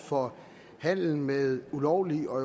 for handel med ulovlig og